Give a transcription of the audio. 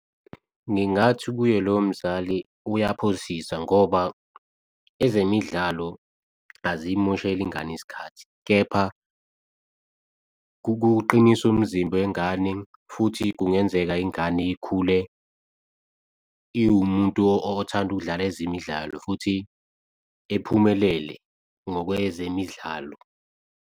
Ngingathi kuye lowo mzali uyaphosisa ngoba ezemidlalo azimosheli ingane isikhathi kepha kukuqinisa umzimba wengane. Futhi kungenzeka, ingane ikhule iwumuntu othanda ukudlala ezemidlalo futhi iphumelele ngokwezemidlalo.